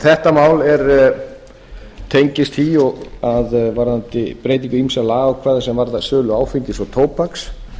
þetta mál tengist því að varðandi breytingu ýmissa lagaákvæða sem varða sölu áfengis og tóbaks